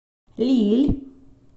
лилль